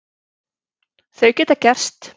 Þau geta gerst.